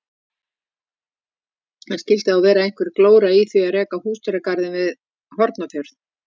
En skildi þá vera einhver glóra í því að reka húsdýragarð við Hornafjörð?